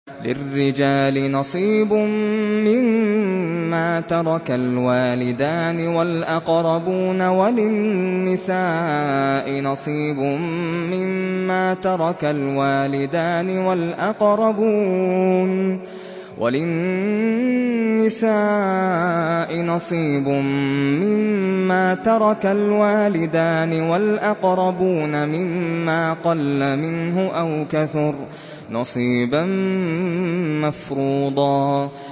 لِّلرِّجَالِ نَصِيبٌ مِّمَّا تَرَكَ الْوَالِدَانِ وَالْأَقْرَبُونَ وَلِلنِّسَاءِ نَصِيبٌ مِّمَّا تَرَكَ الْوَالِدَانِ وَالْأَقْرَبُونَ مِمَّا قَلَّ مِنْهُ أَوْ كَثُرَ ۚ نَصِيبًا مَّفْرُوضًا